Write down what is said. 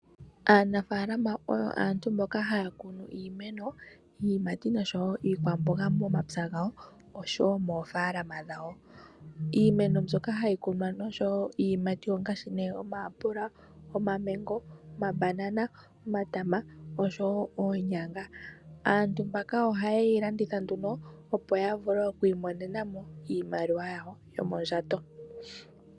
Aanafaalama oyo aantu mboka haya kunu iimeno, iiyimati noshowo iikwamboga momapya gawo oshowo moofaalama dhawo. Iimeno mbyoka hayi kunwa nosho wo iiyimati ongaashi omayapula, omamango, omabanana, omatama, oshowo oonyanga. Aantu mbaka ohaye yi landitha nduno, opo ya vule oku imonena mo iimaliwa yawo yomondjato.